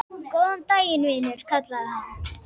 Góðan daginn, vinur kallaði hann.